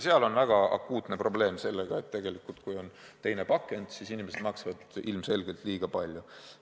Seal on väga akuutne probleem sellega, et kui on teine pakend, siis inimesed maksavad ilmselgelt liiga palju.